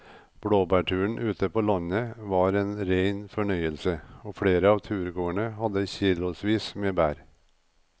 Blåbærturen ute på landet var en rein fornøyelse og flere av turgåerene hadde kilosvis med bær.